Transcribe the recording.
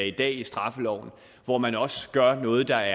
i dag i straffeloven hvor man også gør noget der